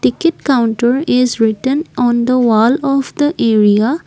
ticket counter is written on the wall of the area.